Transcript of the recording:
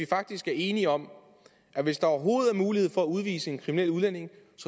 faktisk er enige om at hvis der overhovedet er mulighed for at udvise en kriminel udlænding